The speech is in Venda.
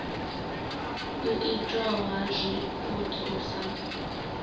u itwa ha zwipotso sa